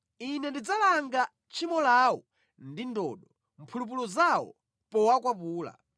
Ine ndidzalanga tchimo lawo ndi ndodo, mphulupulu zawo powakwapula.